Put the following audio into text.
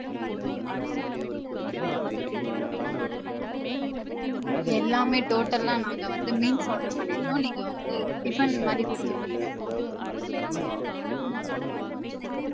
எல்லாமே total லா நாங்க வந்து meals order பன்னிருந்தோம் நீங்க வந்து tiffin மாதிரி குடுத்துருக்கிங்க.